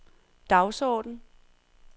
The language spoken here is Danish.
dagsorden